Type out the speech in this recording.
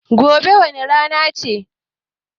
Gobe wane rana ce?